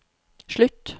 slutt